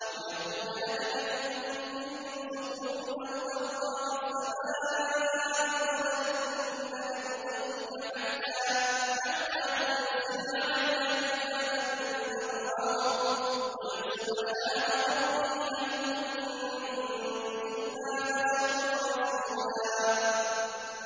أَوْ يَكُونَ لَكَ بَيْتٌ مِّن زُخْرُفٍ أَوْ تَرْقَىٰ فِي السَّمَاءِ وَلَن نُّؤْمِنَ لِرُقِيِّكَ حَتَّىٰ تُنَزِّلَ عَلَيْنَا كِتَابًا نَّقْرَؤُهُ ۗ قُلْ سُبْحَانَ رَبِّي هَلْ كُنتُ إِلَّا بَشَرًا رَّسُولًا